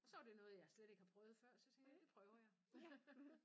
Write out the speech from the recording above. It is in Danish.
Og så var det noget jeg slet ikke har prøvet før så tænkte jeg det prøver jeg